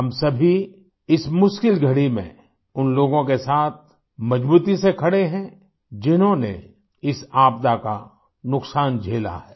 हम सभी इस मुश्किल घड़ी में उन लोगों के साथ मज़बूती से खड़े हैं जिन्होंने इस आपदा का नुक़सान झेला है